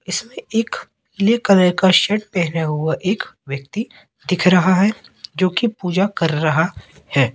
इसमें एक पीले कलर का शर्ट पहना हुआ एक व्यक्ति दिख रहा हैं जो की पूजा कर रहा हैं।